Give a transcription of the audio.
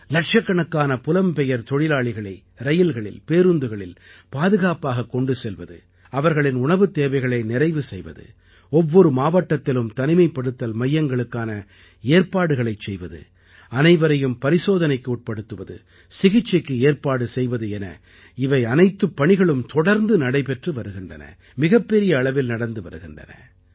இலட்சக்கணக்கான புலம்பெயர் தொழிலாளிகளை ரயில்களில் பேருந்துகளில் பாதுகாப்பாகக் கொண்டு செல்வது அவர்களின் உணவுத் தேவைகளை நிறைவு செய்வது ஒவ்வொரு மாவட்டத்திலும் தனிமைப்படுத்தல் மையங்களுக்கான ஏற்பாடுகளைச் செய்வது அனைவரையும் பரிசோதனைக்கு உட்படுத்துவது சிகிச்சைக்கு ஏற்பாடு செய்வது என இவையனைத்துப் பணிகளும் தொடர்ந்து நடைபெற்று வருகின்றன மிகப்பெரிய அளவில் நடந்து வருகின்றன